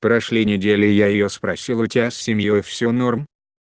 прошли недели и я её спросил у тебя с семьёй все нормально